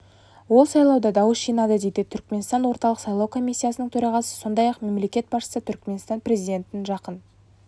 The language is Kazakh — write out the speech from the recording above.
ол сайлауда дауыс жинады дейді түркіменстан орталық сайлау комиссиясының төрағасы сондай-ақ мемлекет басшысы түрікменстан президентін жақын